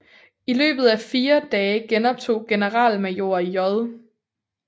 I løbet af fire dage genoptog generalmajor J